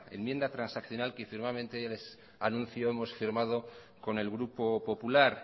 enmienda transaccional que ya les anuncio hemos firmado con el grupo popular